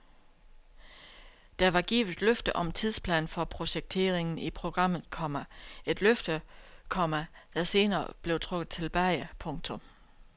Der var givet løfte om tidsplan for projekteringen i programmet, komma et løfte, komma der senere blev trukket tilbage. punktum